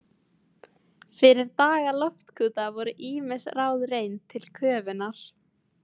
Fyrir daga loftkúta voru ýmis ráð reynd til köfunar.